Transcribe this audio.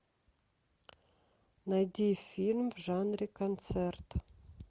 найди фильм в жанре концерт